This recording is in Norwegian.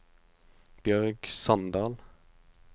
Bjørg Sandal